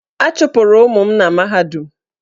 A chụpụrụ ụmụ m na mahadum.